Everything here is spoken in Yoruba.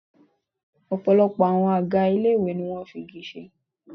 Ọ̀pọ̀lọpọ̀ àwọn àga ilé ìwé ni wọn fi igi ṣe.